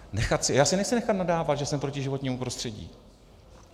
Já si nechci nechat nadávat, že jsem proti životnímu prostředí.